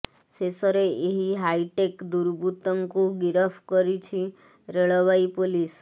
ଶେଷରେ ଏହି ହାଇଟେକ ଦୁର୍ବୃତ୍ତତ୍ତଙ୍କୁ ଗିରଫ କରିଛି ରେଳବାଇ ପୋଲିସ